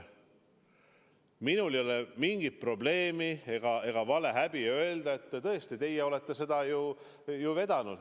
Minul ei ole mingit probleemi öelda, et tõesti teie olete seda ju ei vedanud.